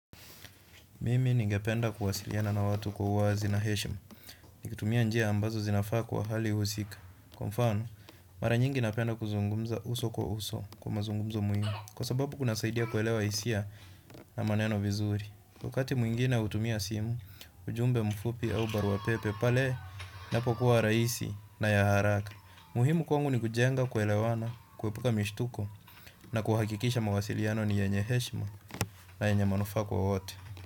Mimi ningependa kuwasiliana na watu kwa uwazi na heshima. Nikitumia njia ambazo zinafaa kwa hali husika kwa mfano, mara nyingi napenda kuzungumza uso kwa uso kwa mazungumzo muhimu. Kwa sababu kunasaidia kuelewa hisia na maneno vizuri. Wakati mwingine hutumia simu ujumbe mfupi au barua pepe pale inapokua rahisi na ya haraka. Muhimu kwangu ni kujenga kuelewana, kuepuka mishtuko na kuhakikisha mawasiliano ni yenye heshima na yenye manufaa kwa wote.